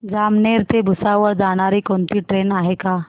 जामनेर ते भुसावळ जाणारी कोणती ट्रेन आहे का